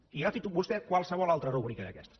i agafi vostè qualsevol altra rúbrica d’aquestes